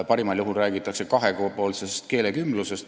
Parimal juhul räägitakse kahepoolsest keelekümblusest.